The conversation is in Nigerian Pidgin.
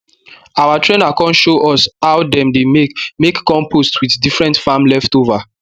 our trainer con show us how dem dey make make compost with different farm leftover